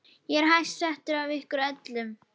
Ég er hæst settur af ykkur öllum!